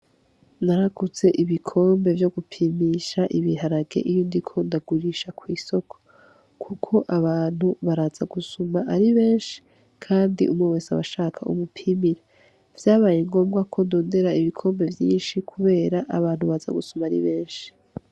Naraguze ibikombe vyo gupimpisha ibiharage iyo ndiko ndagurisha kwisoko kuko abantu baza gusuma ari benshi kandi umwe wese aba ashaka umupimpire vyabaye ngombwa ko ndondera ibikombe vyinshi kubera abantu baza gusuma ari benshi.